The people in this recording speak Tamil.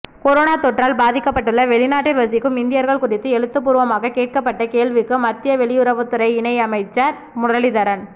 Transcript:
கொரோனா தொற்றால் பாதிக்கப்பட்டுள்ள வெளிநாட்டில் வசிக்கும் இந்தியர்கள் குறித்து எழுத்துப்பூர்வமாக கேட்கப்பட்ட கேள்விக்கு மத்திய வெளியுறவுத்துறை இணை அமைச்சர் முரளீதரன்